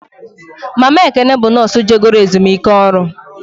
Mama Ekene bụ nọọsụ je goro ezumike ọrụ